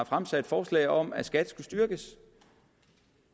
fremsatte forslag om at skat skulle styrkes